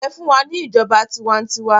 Ẹfun wa ni ijọba tiwantiwa!